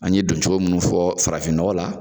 An ye don cogo minnu fɔ farafin nɔgɔ la.